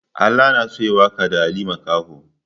Ala na so ya yi waƙa da Ali Makaho.